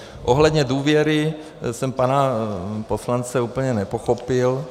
Ohledně důvěry jsem pana poslance úplně nepochopil -